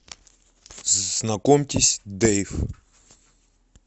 знакомьтесь дэйв